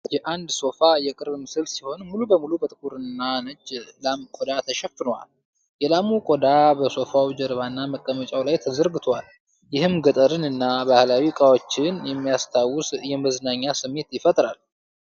የአንድ ሶፋ የቅርብ ምስል ሲሆን፣ ሙሉ በሙሉ በጥቁርና ነጭ ላም ቆዳ ተሸፍኗል። የላሙ ቆዳ በሶፋው ጀርባና መቀመጫው ላይ ተዘርግቷል፤ ይህም ገጠርን እና ባህላዊ እቃዎችን የሚያስታውስ የመዝናኛ ስሜት ይፈጥራል።